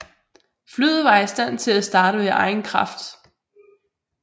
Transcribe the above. Flyet var i stand til at starte ved egen kraft